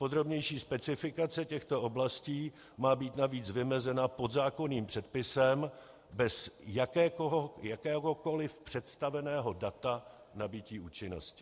Podrobnější specifikace těchto oblastí má být navíc vymezena podzákonným předpisem bez jakéhokoliv představeného data nabytí účinnosti.